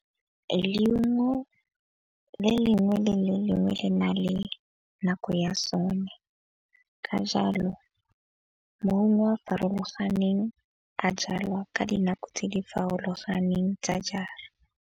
Le lengwe le le lengwe le na le nako ya sone, ka jalo maungo a a farologaneng a jalwa ka dinako tse di farologaneng tsa jara.